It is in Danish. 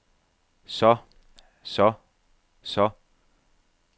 så så så